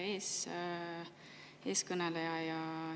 Hea eeskõneleja!